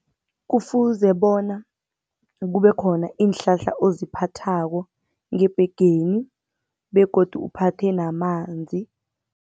Kufuze bona kube khona iinhlahla oziphathako ngebhegeni begodu uphathe namanzi.